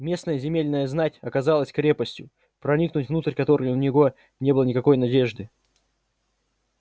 местная земельная знать оказалась крепостью проникнуть внутрь которой у него не было никакой надежды